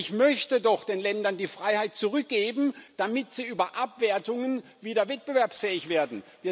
Ich möchte doch den Ländern die Freiheit zurückgeben, damit sie über Abwertungen wieder wettbewerbsfähig werden.